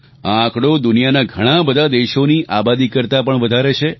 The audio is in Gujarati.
આ આંકડો દુનિયાના ઘણાં બધાં દેશોની આબાદી કરતા પણ વધારે છે